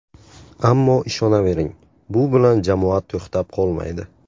Ammo ishonavering, bu bilan jamoa to‘xtab qolmaydi.